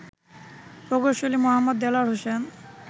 প্রকৌশলী মো. দেলোয়ার হোসেন